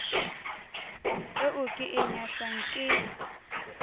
eo ke e nyatsang ke